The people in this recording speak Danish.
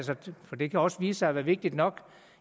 for det kan også vise sig at være vigtigt nok